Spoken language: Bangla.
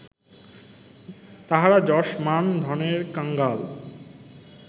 তাহারা যশ মান ধনের কাঙ্গাল